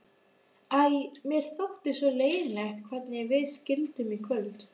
Æ, mér þótti svo leiðinlegt hvernig við skildum í kvöld.